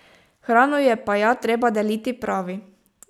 Hrano je pa ja treba deliti, pravi.